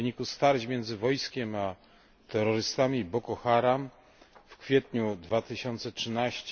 W wyniku starć między wojskiem a terrorystami Boko Haram w kwietniu 2013